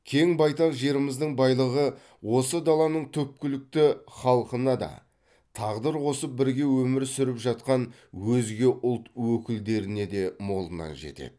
кең байтақ жеріміздің байлығы осы даланың түпкілікті халқына да тағдыр қосып бірге өмір сүріп жатқан өзге ұлт өкілдеріне де молынан жетеді